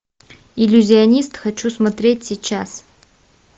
иллюзионист хочу смотреть сейчас